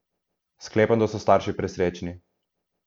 Sklepam, da so starši presrečni ...